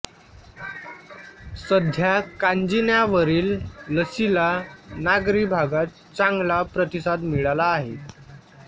सध्या कांजिण्यावरील लसीला नागरी भागात चांगला प्रतिसाद मिळाला आहे